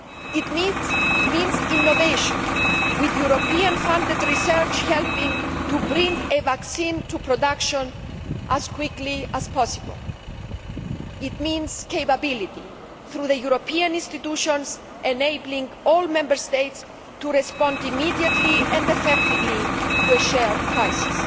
It means innovation, with European funded research helping to bring a vaccine to production as quickly as possible. It means capability, through the European institutions enabling all Member States to respond immediately and effectively to a shared crisis.